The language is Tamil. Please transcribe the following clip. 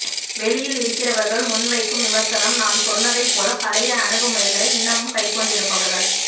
வெளியில் இருக்கிறவர்கள் முன்வைக்கும் விமர்சனம் நான் சொன்னதைப் போல பழைய அணுகுமுறையை இன்னமும் கைக்கொண்டிருப்பவர்கள்